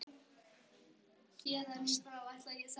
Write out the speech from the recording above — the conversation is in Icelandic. Héðan í frá ætlaði ég sannarlega að passa mig betur.